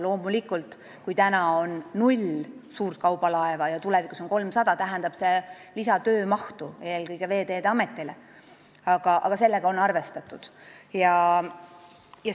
Kui meil on praegu null suurt kaubalaeva ja tulevikus 300, siis see tähendab lisatöömahtu eelkõige Veeteede Ametile, aga sellega on arvestatud.